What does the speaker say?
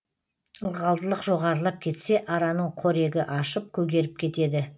ылғалдылық жоғарылап кетсе араның қорегі ашып көгеріп кетеді